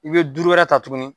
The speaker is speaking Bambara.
I be duuru wɛrɛ ta tuguni